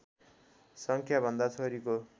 सङ्ख्याभन्दा छोरीको